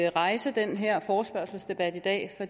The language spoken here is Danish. rejse den her forespørgselsdebat i dag